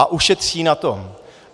A ušetří na tom.